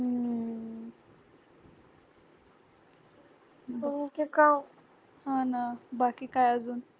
हा ना बाकी काय अजून